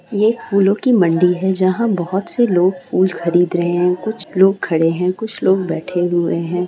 ये एक फूलों की मंडी है जहां बहुत से लोग फूल खरीद रहे हैं कुछ लोग खड़े हैं कुछ लोग बैठे हुए हैं।